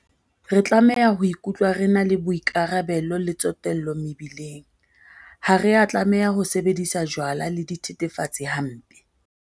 Re tlameha ho ikutlwa re na le boikarabelo le tsotello mebileng. Ha re a tlameha ho sebedisa jwala le dithethefatsi hampe.